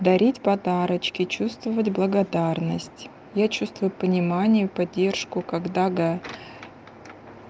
дарить подарочки чувствовать благодарность я чувствую понимание поддержку когда г